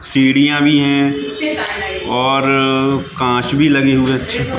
सीढ़ियां भी हैं और कांच भी लगे हुए --